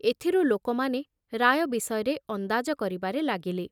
ଏଥିରୁ ଲୋକମାନେ ରାୟ ବିଷୟରେ ଅନ୍ଦାଜ କରିବାରେ ଲାଗିଲେ।